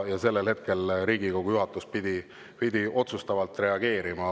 Ja sellel hetkel pidi Riigikogu juhatus otsustavalt reageerima.